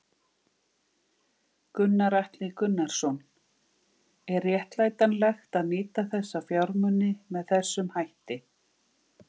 Gunnar Atli Gunnarsson: Er réttlætanlegt að nýta þessa fjármuni með þessum hætti?